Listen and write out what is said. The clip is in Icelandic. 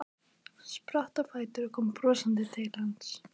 Spratt á fætur og kom brosandi til hans.